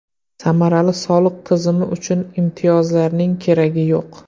Samarali soliq tizimi uchun imtiyozlarning keragi yo‘q.